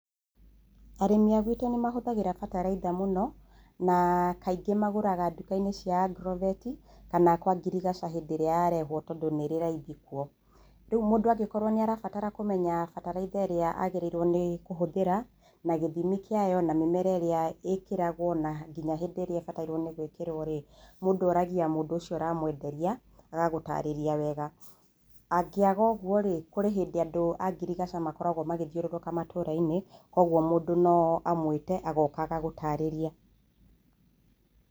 Arĩmi a gwitũ nĩ mahũthagĩra bataraitha mũno na kaingĩ magũraga nduka-ini cia agrovet kana kwa ngirigaca hĩndĩ ĩrĩa yarehwo tondũ nĩrĩ raithi kuo. Rĩu mũndũ angĩkorwo nĩ arabatara kũmenya bataraitha ĩrĩa agĩrĩirwo nĩ kũhũthĩra na gĩthimi kĩayo na mĩmera ĩrĩa ĩkĩragwo na ngĩnya ũrĩa ĩbatairwo nĩ gwĩkĩrwo rĩ, mũndũ oragia mũndũ ũcio ũra mwenderia agagũtarĩria wega. Angĩaga ũguo rĩ, kũrĩ hĩndĩ andũ a ngiricaga makoragwo magĩthiũrũrũka matũũra-inĩ koguo mũndũ no amũĩte agoka agagũtarĩria.